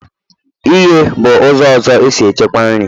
ighe bụ ụzọ ọzọ e si echekwa nri.